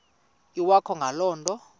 iwakho ngale nto